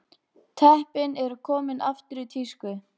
Teppin eru komin aftur í tísku